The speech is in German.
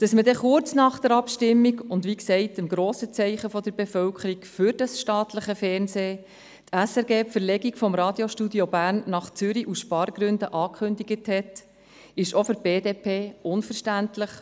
Dass die SRG kurz nach der Abstimmung und damit wie gesagt nach dem grossen Zeichen der Bevölkerung für das staatliche Fernsehen die Verlegung des Radiostudios Bern nach Zürich aus Spargründen angekündigt hat, ist auch für die BDP unverständlich.